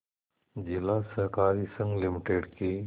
जिला सहकारी संघ लिमिटेड के